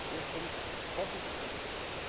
Erstens Forschungsprojekte.